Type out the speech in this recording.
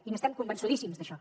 i n’estem convençudíssims d’això